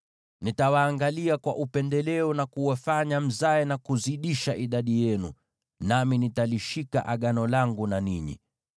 “ ‘Nitawaangalia kwa upendeleo na kuwafanya mzae na kuzidisha idadi yenu, nami nitalishika Agano langu na ninyi.